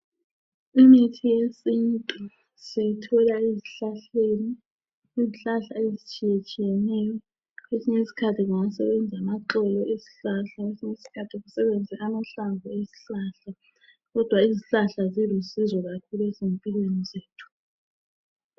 Imithi yesintu siyayithola ezihlahleni. Izihlahla ezitshiyeneyo. Kwesinye isikhathi kungasebenza amaxolo esihlahla kwesinye isikhathi kusebenza amahlamvu. Kodwa izihlahla zilusizo kakhulu ezimpilweni zethu.